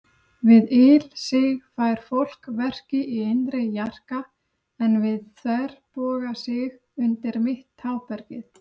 Við ilsig fær fólk verki í innri jarka, en við þverbogasig undir mitt tábergið.